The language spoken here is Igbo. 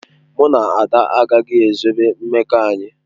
Mụ na Ada agaghị ezobe mmekọ anyị.